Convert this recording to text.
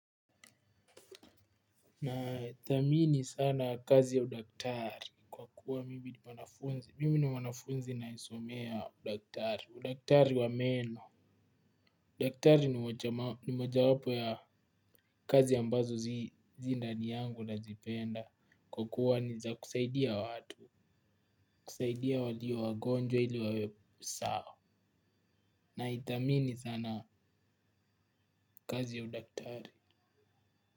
Na thamini sana kazi ya udaktari, kwa kuwa mimi ni mwanafunzi ninayesomea udaktari, udaktari wa meno, udaktari ni moja wapo ya kazi ya ambazo zi ndani yangu nazipenda, kwa kukuwa ni zakusaidia watu, kusaidia walio wagonjwa ili wawe sawa, naithamini sana kazi ya udaktari.